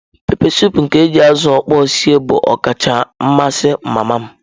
Pepesụpụ nke eji azụ okpor sie bụ ọkacha amasị mama m.